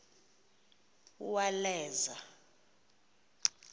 uwaleza